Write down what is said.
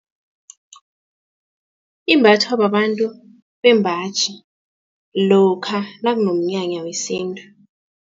Imbathwa babantu bembaji lokha nakunomnyanya wesintu.